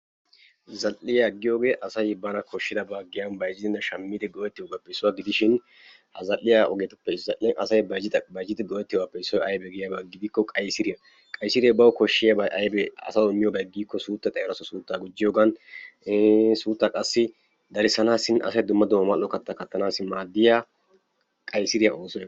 Zal"iya giyogee asay giyan bayzzidinne shammidi go'ettiyabaappe issuwa gidishin ha zal"iyappe issoy aybee giyaba gidikko qaysiriya. Qaysiree bawu koshshiyabay aybee, asawu immiyobay suuttay xayido asaassi suuttaa gujjiyogan, iin qassi suuttaa darissanaassinne asay qassi mal"o kattaa kattanaassi qaysiriya...